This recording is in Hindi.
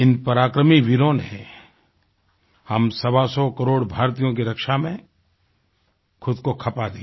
इन पराक्रमी वीरों ने हम सवासौ करोड़ भारतीयों की रक्षा में ख़ुद को खपा दिया